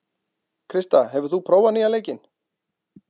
Krista, hefur þú prófað nýja leikinn?